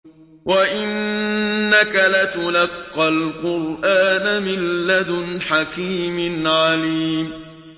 وَإِنَّكَ لَتُلَقَّى الْقُرْآنَ مِن لَّدُنْ حَكِيمٍ عَلِيمٍ